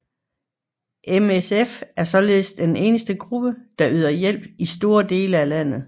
MSF er således den eneste gruppe der yder hjælp i store dele af landet